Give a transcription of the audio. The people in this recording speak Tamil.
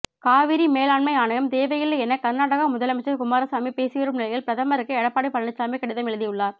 காவிரி மேலாண்மை ஆணையம் தேவையில்லை எனக் கர்நாடக முதல்வர் குமாரசாமி பேசிவரும் நிலையில் பிரதமருக்கு எடப்பாடி பழனிசாமி கடிதம் எழுதியுள்ளார்